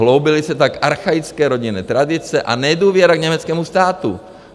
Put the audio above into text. Hloubily se tak archaické rodinné tradice a nedůvěra k německému státu.